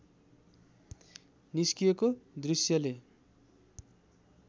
निस्किएको दृश्यले